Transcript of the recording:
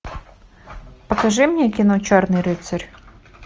покажи мне кино черный рыцарь